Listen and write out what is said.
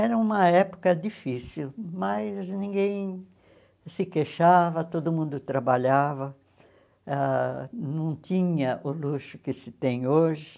Era uma época difícil, mas ninguém se queixava, todo mundo trabalhava, ãh não tinha o luxo que se tem hoje.